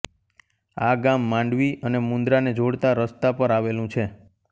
આ ગામ માંડવી અને મુન્દ્રાને જોડતા રસ્તા પર આવેલું છે